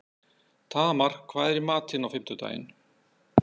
Tamar, hvað er í matinn á fimmtudaginn?